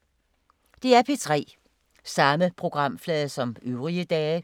DR P3